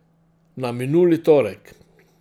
Na minuli torek.